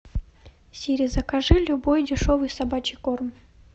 сири закажи любой дешевый собачий корм